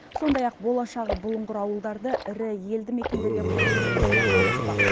сондай ақ болашағы бұлыңғыр ауылдарды ірі елді мекендерге қосу жұмысы да жалғаспақ